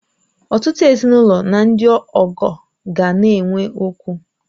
Ọtụtụ ezinụlọ na ndị ọgọ ga na-enwe okwu